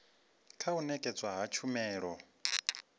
kha u nekedzwa ha tshumelo